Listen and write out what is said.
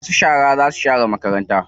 Masu shara za su share makarantar sosai.